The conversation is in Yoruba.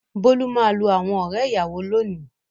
Bólú máa lo àwọn ọ̀rẹ́-ìyàwó lónìí.